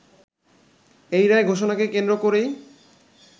এই রায় ঘোষণাকে কেন্দ্র করেই